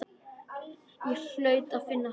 Ég hlaut að finna hana.